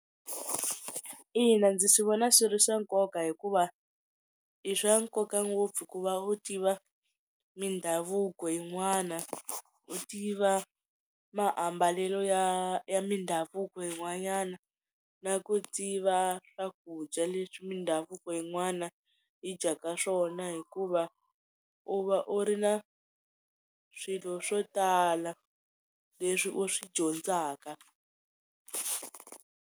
Ina ndzi swi vona swi ri swa nkoka hikuva i swa nkoka ngopfu ku va u tiva mindhavuko yin'wana u tiva maambalelo ya ya mindhavuko yin'wanyana na ku tiva swakudya leswi mindhavuko yin'wana yi dyaka swona hikuva u va u ri na swilo swo tala leswi u swi dyondzaka.